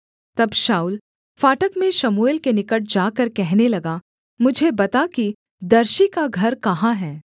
तब शाऊल फाटक में शमूएल के निकट जाकर कहने लगा मुझे बता कि दर्शी का घर कहाँ है